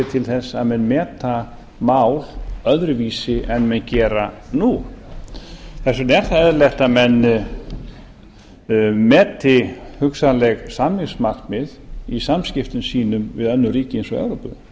til þess að menn meta mál öðruvísi en menn gera nú þess vegna er það eðlilegt að menn meti hugsanleg samningsmarkmið í samskiptum sínum við önnur ríki eins og evrópu